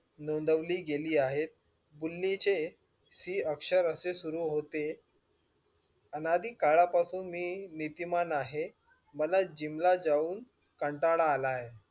नोद्विली गेली आहे. बुल्लीचे शी अक्षरे अशे सुरु होते, अनादी काळापासून मी नीतिमान आहे मला जिमला जावून कंटाळा आला आहे.